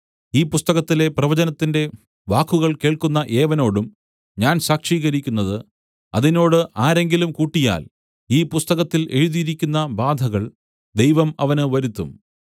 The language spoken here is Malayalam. ഈ പുസ്തകത്തിലെ പ്രവചനത്തിന്റെ വാക്കുകൾ കേൾക്കുന്ന ഏവനോടും ഞാൻ സാക്ഷീകരിക്കുന്നത് അതിനോട് ആരെങ്കിലും കൂട്ടിയാൽ ഈ പുസ്തകത്തിൽ എഴുതിയിരിക്കുന്ന ബാധകൾ ദൈവം അവന് വരുത്തും